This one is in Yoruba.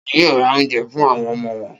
Ta ni yóò ra oúnjẹ fún àwọn ọmọ wọn?